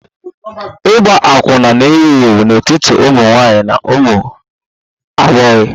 Ịgba akwụna na-ewu ewu n'etiti ụmụ nwanyị na ụmụ agbọghọ